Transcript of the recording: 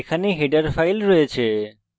এখানে header files রয়েছে